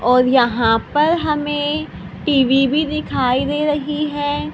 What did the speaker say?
और यहां पर हमें टी_वी भी दिखाई दे रही है।